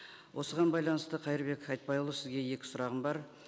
осыған байланысты қайырбек айтбайұлы сізге екі сұрағым бар